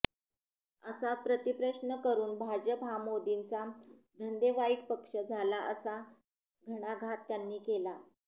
असा प्रतिप्रश्न करून भाजप हा मोदींचा धंदेवाईक पक्ष झाला असा घणाघात त्यांनी केला